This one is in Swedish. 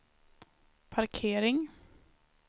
parkering